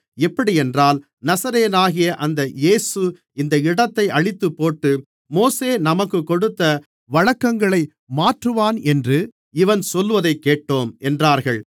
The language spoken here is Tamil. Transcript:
எப்படியென்றால் நசரேயனாகிய அந்த இயேசு இந்த இடத்தை அழித்துப்போட்டு மோசே நமக்குக் கொடுத்த வழக்கங்களை மாற்றுவானென்று இவன் சொல்வதைக் கேட்டோம் என்றார்கள்